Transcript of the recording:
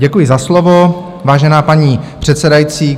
Děkuji za slovo, vážená paní předsedající.